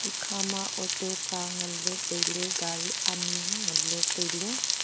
ekha ma auto sa ngan ley tai ley gaari ani ngan ley tai ley.